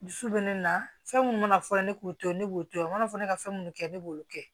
Dusu bɛ ne na fɛn minnu mana fɔ ne k'u to ne b'u to yen u mana fɔ ne ka fɛn minnu kɛ ne b'olu kɛ